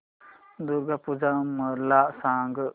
दुर्गा पूजा मला सांग